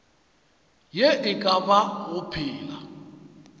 ye e ka bago phela